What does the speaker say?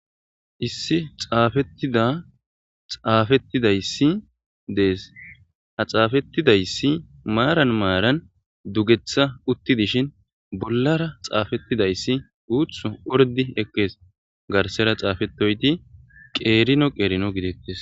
Issi xaafeththida xaafeththida issi dees; ha xaafeththida issi maaran maaran dugeththa uththidishin bollara tsaafeththida isi guuththo orddi ekkees; garssera xaafeththidoy ethi qeerino qeerino gideeththees.